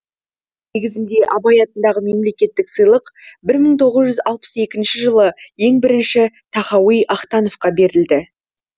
негізінде абай атындағы мемлекеттік сыйлық бір мың тоғыз жүз алпыс екінші жылы ең бірінші тахауи ахтановқа берілді